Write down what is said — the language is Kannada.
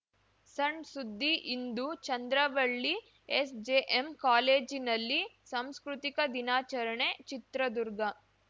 ಸಣ್‌ ಸುದ್ದಿ ಇಂದು ಚಂದ್ರವಳ್ಳಿ ಎಸ್‌ಜೆಎಂ ಕಾಲೇಜಿನಲ್ಲಿ ಸಂಸ್ಕೃತಿಕ ದಿನಾಚರಣೆ ಚಿತ್ರದುರ್ಗ